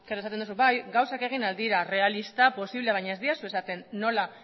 esaten duzu bai gauzak egin ahal dira errealista posible baina ez didazu esaten nola